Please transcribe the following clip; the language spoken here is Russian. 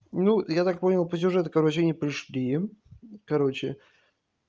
ну я так понял по сюжету короче они пришли короче